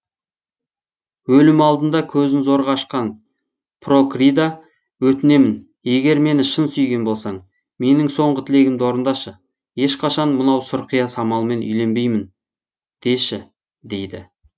өлім алдында көзін зорға ашқан прокрида өтінемін егер мені шын сүйген болсаң менің соңғы тілегімді орындашы ешқашан мынау сұрқия самалмен үйленбеймін деші дейді